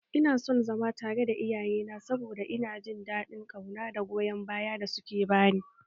Ina son zama tare da iyayena saboda ina jin daɗin ƙauna da goyon bayan da suke bani